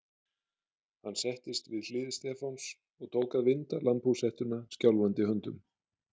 Hann settist við hlið Stefáns og tók að vinda lambhúshettuna skjálfandi höndum.